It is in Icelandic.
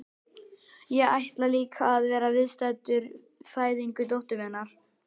Ég ætlaði líka að vera viðstaddur fæðingu dóttur minnar.